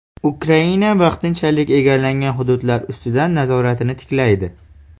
Ukraina vaqtinchalik egallangan hududlar ustidan nazoratini tiklaydi.